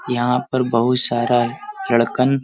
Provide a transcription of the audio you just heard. यहाँ पर बहुत सारा लड़कन --